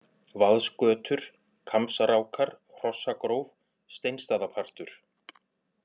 Vaðsgötur, Kambsrákar, Hrossagróf, Steinstaðapartur